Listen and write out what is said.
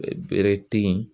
Bere te yen